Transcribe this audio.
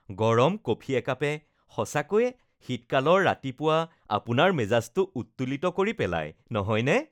গৰম কফি একাপে সঁচাকৈয়ে শীতকালৰ ৰাতিপুৱা আপোনাৰ মেজাজটো উত্তোলিত কৰি পেলাই, নহয়নে?